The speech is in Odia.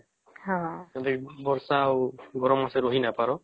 ଯଦି ବର୍ଷା ଆଉ ଗରମ ମାସେ ରହି ନାଇଁ ପରା